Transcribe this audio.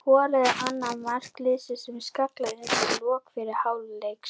Hann skoraði annað mark liðsins með skalla undir lok fyrri hálfleiks.